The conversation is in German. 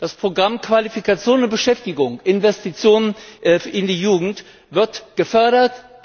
Das Programm Qualifikation und Beschäftigung Investitionen in die Jugend wird gefördert.